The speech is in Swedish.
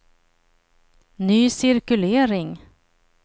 ny cirkulering